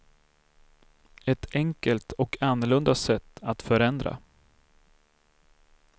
Ett enkelt och annorlunda sätt att förändra.